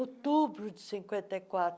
Outubro de cinquenta e quatro.